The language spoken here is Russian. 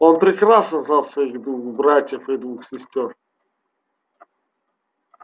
он прекрасно знал своих двух братьев и двух сестёр